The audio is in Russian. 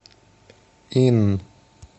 ин